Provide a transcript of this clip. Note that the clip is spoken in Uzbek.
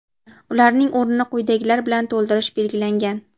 Ularning o‘rnini quyidagilar bilan to‘ldirish belgilangan.